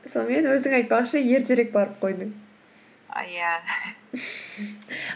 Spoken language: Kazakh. сонымен өзің айтпақшы ертерек барып қойдың иә